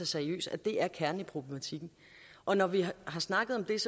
seriøst at det er kernen i problematikken og når vi har snakket om det